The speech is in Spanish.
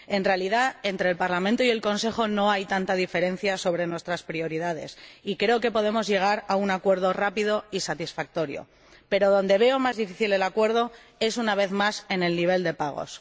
En realidad, entre el Parlamento y el Consejo no hay tanta diferencia sobre nuestras prioridades y creo que podemos llegar a un acuerdo rápido y satisfactorio, pero donde veo más difícil el acuerdo es, una vez más, en el nivel de pagos.